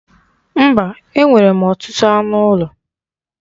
Mba, e nwere m ọtụtụ anụ ụlọ.